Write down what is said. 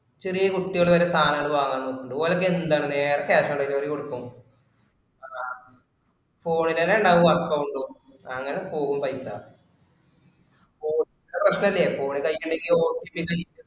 ചെറിയ കുട്ടികള് വരെ സാധനങ്ങള് വാങ്ങാൻ നിൽക്കുന്നുണ്ട്. ഓനൊക്കെ എന്താ നേരത്തെ cash on delivery കൊടുക്കും. അഹ് phone ഇല് തന്നെ ഉണ്ടാവും account ഉം അങ്ങിനെ പോകും പൈസ. മൂന്നാലു വര്ഷമായില്ലേ phone ഇൽ കളിക്കണ്‌ OTP ഒക്കെ